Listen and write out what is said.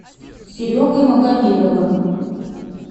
серегой магомедовым